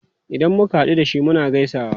Idan muka hadu da shi, muna gaisawa.